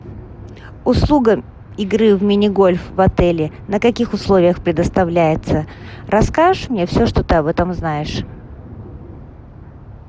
услуга игры в мини гольф в отеле на каких условиях предоставляется расскажешь мне все что ты об этом знаешь